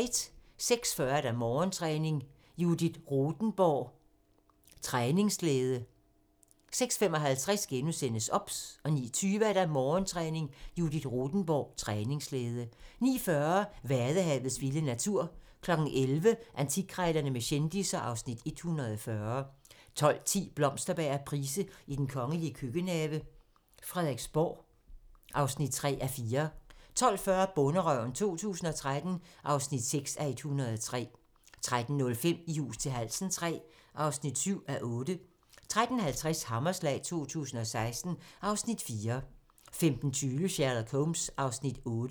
06:40: Morgentræning: Judith Rothenborg - træningsglæde 06:55: OBS * 09:20: Morgentræning: Judith Rothenborg - træningsglæde 09:40: Vadehavets vilde natur 11:00: Antikkrejlerne med kendisser (Afs. 140) 12:10: Blomsterberg og Price i den kongelige køkkenhave: Frederiksborg (3:4) 12:40: Bonderøven 2013 (6:103) 13:05: I hus til halsen III (7:8) 13:50: Hammerslag 2016 (Afs. 4) 15:20: Sherlock Holmes (8:45)